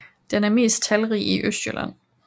Den er mest talrig i Østjylland